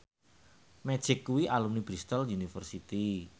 Magic kuwi alumni Bristol university